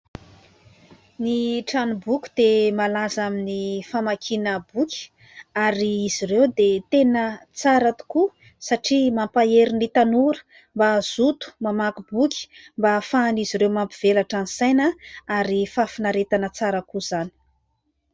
Ny tranom-boky dia malaza amin'ny famakiana boky ary izy ireo dia tena tsara tokoa satria mampahery ny tanora mba hazoto mamaky boky mba ahafahan'izy ireo mampivelatra ny saina ary fahafinaretana tsara koa izany.